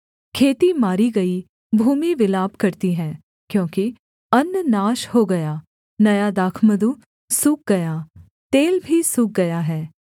खेती मारी गई भूमि विलाप करती है क्योंकि अन्न नाश हो गया नया दाखमधु सूख गया तेल भी सूख गया है